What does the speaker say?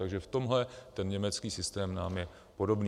Takže v tomhle ten německý systém nám je podobný.